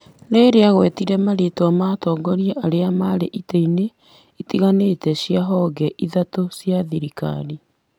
rĩrĩa agwetire marĩĩtwa ma atongoria arĩa marĩ itĩ-inĩ itiganĩte cia honge ithatũ cia thirikari,